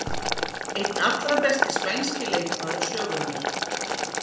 Einn allra besti spænski leikmaður sögunnar.